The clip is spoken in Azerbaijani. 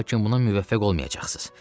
Lakin buna müvəffəq olmayacaqsınız.